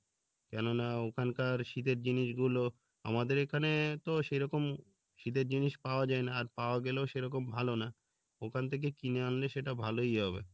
কেননা ওখানকার শীতের জিনিস গুলো আমাদের এখানে তো সেরকম শীতের জিনিস পাওয়া যাই না আর পাওয়া গেলেও সেরকম ভালো না ওখান থেকে কিনে আনলে সেটা ভালোই হবে